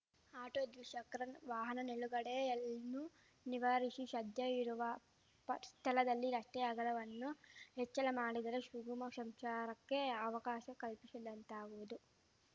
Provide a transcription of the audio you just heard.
auto ದ್ವಿಚಕ್ರ ವಾಹನ ನಿಲುಗಡೆಯನ್ನು ನಿವಾರಿಶಿ ಶದ್ಯ ಇರುವ ಸ್ಥಳದಲ್ಲಿ ರಸ್ತೆಯ ಅಗಲವನ್ನು ಹೆಚ್ಚಳ ಮಾಡಿದರೆ ಶುಗಮ ಶಂಚಾರಕ್ಕೆ ಅವಕಾಶ ಕಲ್ಪಿಶಿದಂತಾಗುವುದು